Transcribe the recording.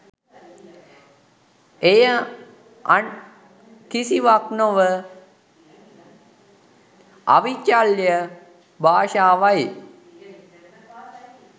එය අන් කිසිවක් නොව අවිචල්‍ය භාෂාවයි